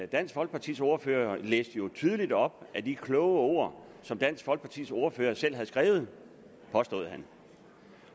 dansk folkepartis ordfører læste jo tydeligt op af de kloge ord som dansk folkepartis ordfører selv havde skrevet påstod han